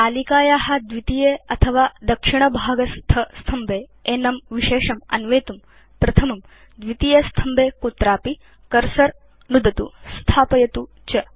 तालिकाया द्वितीये अथवा दक्षिणभागस्थस्तम्भे एनं विशेषम् अन्वेतुं प्रथमं द्वितीयेस्तम्भे कुत्रापि कर्सर नुदतु स्थापयतु च